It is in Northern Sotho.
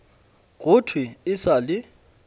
go thwe e sa le